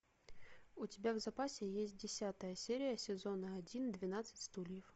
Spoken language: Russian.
у тебя в запасе есть десятая серия сезона один двенадцать стульев